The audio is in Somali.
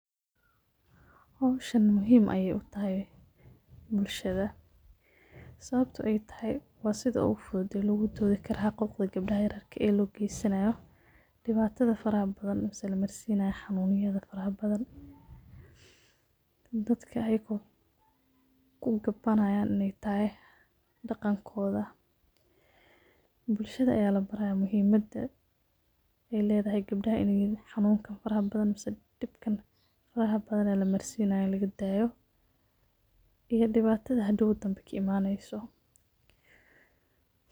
Howshan muhiim ayay utahay bulshada, sababto ay tahay waa sida ogu fudud oo logu doodi karo xaquqda gebdhaha yaryarka ah loo gesanayo, dhibatada faraha badan mise lamarsinayo xanun yada faraha badan, dadka ayako kugabaanayan inay tahay dhaqankooda, bulshada aya la baraya muhiimada ay leedahay gabdhaha xanunkan faraha badan mise dhibkan faraha badan ee lamarsinayo laga daayo, iyo dhibatada hadhow dambe ka imaneyso